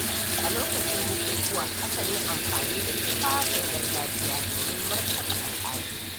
A lokacin bukukuwa, akan yi amfani da tufafin gargajiya domin martaba al'adu.